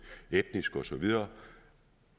etnisk og så videre